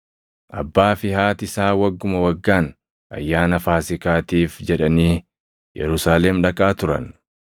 Abbaa fi haati isaa wagguma waggaan Ayyaana Faasiikaatiif jedhanii Yerusaalem dhaqaa turan.